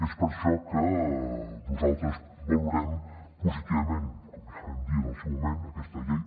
és per això que nosaltres valorem positivament com ja vam dir en el seu moment aquesta llei